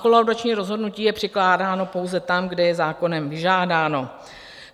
Kolaudační rozhodnutí je přikládáno pouze tam, kde je zákonem vyžádáno.